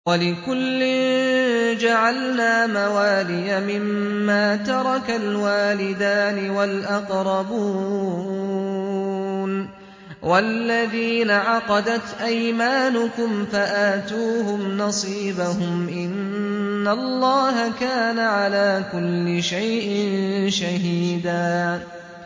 وَلِكُلٍّ جَعَلْنَا مَوَالِيَ مِمَّا تَرَكَ الْوَالِدَانِ وَالْأَقْرَبُونَ ۚ وَالَّذِينَ عَقَدَتْ أَيْمَانُكُمْ فَآتُوهُمْ نَصِيبَهُمْ ۚ إِنَّ اللَّهَ كَانَ عَلَىٰ كُلِّ شَيْءٍ شَهِيدًا